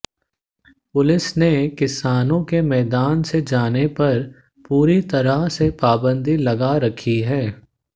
police ने किसानों के मैदान से जाने पर पूरी तरह से पाबंदी लगा रखी है